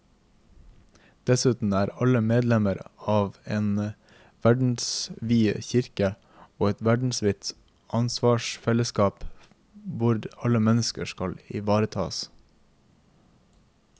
Dessuten er alle medlemmer av en verdensvid kirke og et verdensvidt ansvarsfellesskap hvor alle mennesker skal ivaretas.